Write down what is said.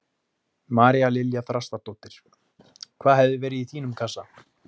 María Lilja Þrastardóttir: Hvað hefði verið í þínum kassa?